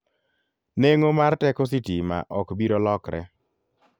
Neng'o mar teko sitima ok biro lokre.